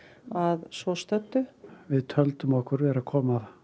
að svo stöddu við töldum okkur vera að koma